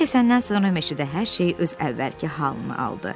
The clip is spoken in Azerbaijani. Yaxşı keçəndən sonra meşədə hər şey öz əvvəlki halını aldı.